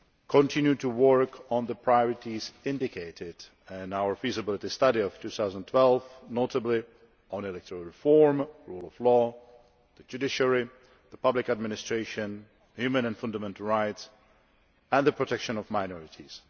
to continue to work on the priorities indicated in our feasibility study of 2012, notably on electoral reform, the rule of law, the judiciary, public administration, human and fundamental rights and the protection of minorities